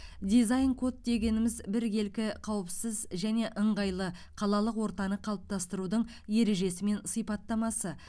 дизайн код дегеніміз біркелкі қауіпсіз және ыңғайлы қалалық ортаны қалыптастырудың ережесі мен сипаттамасы